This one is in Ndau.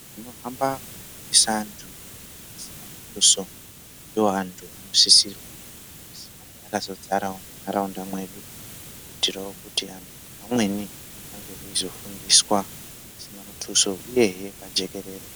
Vanohamba veifundisa antu pasina muthuso ndooantu anosisirwa kuzi ange akazodzarawo muntaraunda mwedu kuitirawo kuti vantu vamweni vange veizofundiswa pasina muthuso uyehe pajekerere